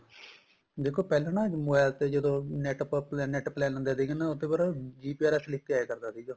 ਦੇਖੋ ਪਹਿਲਾਂ ਨਾ mobile ਤੇ ਜਦੋਂ NET ਆਪਾਂ NET plain ਲੈਣੇ ਆ ਦੇਖ ਲੈਣੇ ਉਸ ਤੇ ਪਰ GPRS ਲਿੱਖ ਕੇ ਆਇਆ ਕਰਦਾ ਸੀਗਾ